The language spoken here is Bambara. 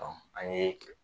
Ɔ an ye